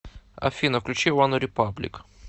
афина включи ванрепаблик